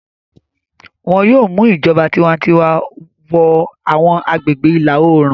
Wọn yóò mu ìjọba tiwantiwa wọ àwọn agbègbè ìlà-oòrùn.